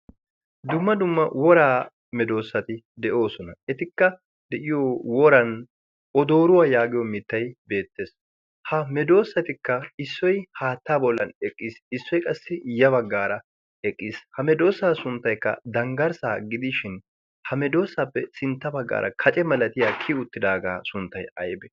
Dumma dumma woraa medoossati de7oosona. Etikka de'iyo woran odooruwaa yaagiyo mittay beettees. Ha medoosatikka issoi haatta bollan eqqiis issoy qassi ya baggaara eqqiis. Ha medoosa sunttaykka danggarssaa gidishin hamedoosappe sintta baggaara kace malatiya kii uttidaagaa sunttay aybe?